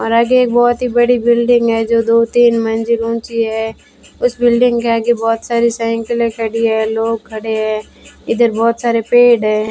और आगे एक बहोत ही बड़ी बिल्डिंग है जो दो तीन मंजिल ऊंची हैं उस बिल्डिंग के आगे बहुत सारी साइंकिलें खड़ी है लोग खड़े हैं इधर बहुत सारे पेड़ हैं।